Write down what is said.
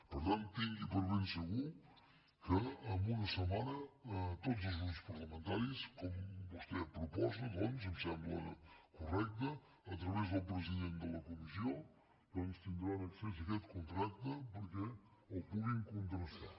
per tant tingui per ben segur que en una setmana tots els grups parlamentaris com vostè proposa em sembla correcte a través del president de la comissió tindran accés a aquest contracte perquè el puguin contrastar